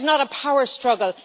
there is not a power struggle